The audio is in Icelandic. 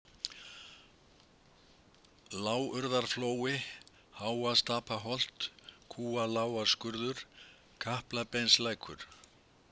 Lágurðarflói, Háastapaholt, Kúalágarskurður, Kaplabeinslækur